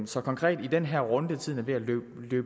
så konkret i den her runde tiden er ved at løbe